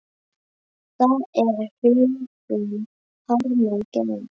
Það er huggun harmi gegn.